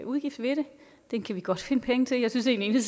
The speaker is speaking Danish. udgift ved det den kan vi godt finde penge til jeg synes egentlig